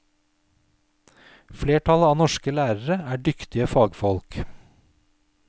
Flertallet av norske lærere er dyktige fagfolk.